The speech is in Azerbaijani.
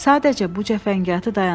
Sadəcə bu cəfəngiyatı dayandırın!